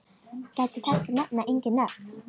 Gæta þess að nefna engin nöfn.